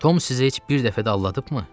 Tom sizi heç bir dəfə də aldadıbmı?